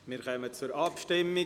Wir kommen zur Abstimmung.